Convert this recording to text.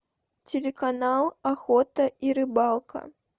телеканал охота и рыбалка